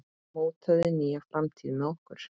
Mótaðu nýja framtíð með okkur!